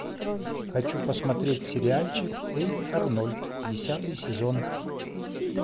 хочу посмотреть сериальчик эй арнольд десятый сезон